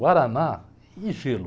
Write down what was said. Guaraná e gelo.